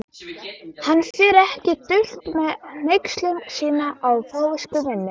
Hann fer ekki dult með hneykslun sína á fávisku minni.